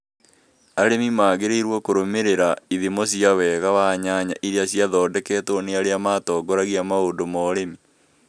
Arĩmi magĩrĩirũo kũrũmĩrĩra ithimo cia wega wa nyanya iria ciathondeketwo nĩ arĩa matongoragia maũndũ ma ũrĩmi.